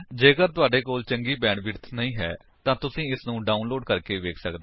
ਜੇਕਰ ਤੁਹਾਡੇ ਕੋਲ ਚੰਗੀ ਬੈਂਡਵਿਡਥ ਨਹੀਂ ਹੈ ਤਾਂ ਤੁਸੀ ਇਸਨੂੰ ਡਾਉਨਲੋਡ ਕਰਕੇ ਵੇਖ ਸੱਕਦੇ ਹੋ